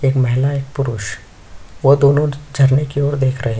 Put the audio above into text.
एक महिला एक पुरुष वो दोनों झरने की और देख रहे है।